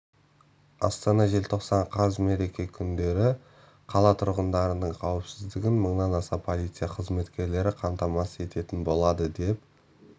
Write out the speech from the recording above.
астана желтоқсан қаз мереке күндері қала тұрғындарының қауіпсіздігін мыңнан аса полиция қызметкері қамтамасыз ететін болады деп